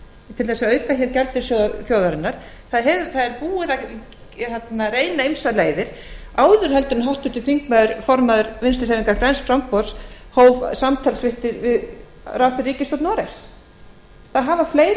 til þess að auka hér gjaldeyrissjóð þjóðarinnar það er búið að reyna ýmsar leiðir áður en háttvirtur þingmaður formaður vinstri hreyfingarinnar græns framboðs hóf samtal sitt við ráðherra í ríkisstjórn noregs það hafa fleiri